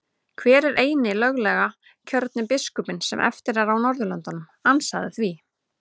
Hver er eini löglega kjörni biskupinn sem eftir er á Norðurlöndum, ansaðu því?